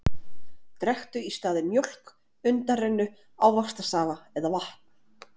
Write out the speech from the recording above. Drekktu í staðinn mjólk, undanrennu, ávaxtasafa eða vatn.